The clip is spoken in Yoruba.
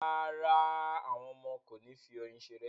Rárá, àwọn ọmọ kò ní fi oyin ṣeré